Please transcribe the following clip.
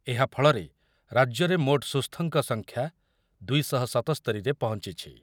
ଏହା ଫଳରେ ରାଜ୍ୟରେ ମୋଟ ସୁସ୍ଥଙ୍କ ସଂଖ୍ୟା ଦୁଇ ଶହ ସତସ୍ତରି ରେ ପହଞ୍ଚିଛି।